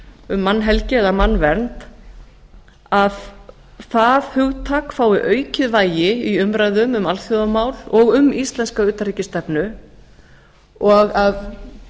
um mannhelgi eða mannvernd að það hugtak fái aukið vægi í umræðum um alþjóðamál og um íslenska utanríkisstefnu og að